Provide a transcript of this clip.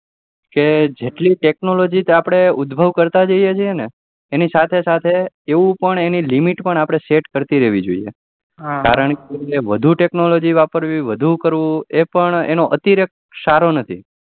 કે જેટલી આપડે technology ઉધભવ કરતા જઈએ છે તેની સાથે સાથે એવું પણ એની limit પણ set કરતી રેહવી જોઈએ કારણકે વધુ technology વાપરવી વધુ કરવુંએ સારુ નથી